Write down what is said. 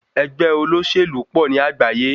Ẹgbẹ́ olóṣèlú pọ̀ ní àgbáyé.